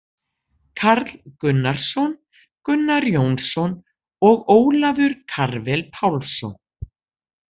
Karl Gunnarsson, Gunnar Jónsson og Ólafur Karvel Pálsson.